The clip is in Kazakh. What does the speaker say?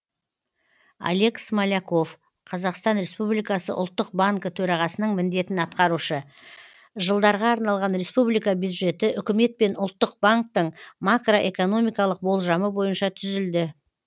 олег смоляков қазақстан республикасы ұлттық банкі төрағасының міндетін атқарушы жылдарға арналған республика бюджеті үкімет пен ұлттық банктің макроэкономикалық болжамы бойынша түзілді